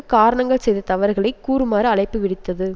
காரணங்கள் செய்த தவறுகளை கூறுமாறு அழைப்புவிடுத்தது